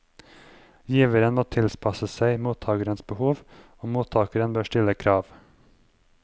Giveren må tilpasse seg mottagerens behov, og mottager bør stille krav.